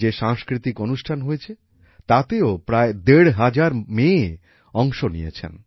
যে সংস্কৃতিক অনুষ্ঠান হয়েছে তাতেও প্রায় দেড় হাজার মেয়ে অংশ নিয়েছেন